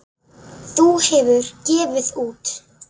Það hefur gefið út